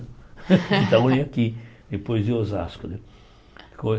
Quitaúna é aqui, depois de Osasco né.